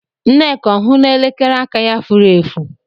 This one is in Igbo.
Nneka ọ hụla elekere aka ya furu efu?